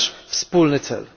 To jest nasz wspólny cel.